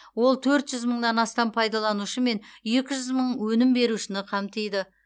ол төрт жүз мыңнан астам пайдаланушы мен екі жүз мың өнім берушіні қамтиды